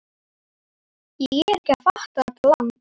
Ég er ekki að fatta þetta land.